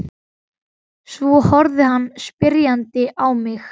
Svo horfði hann spyrjandi á mig.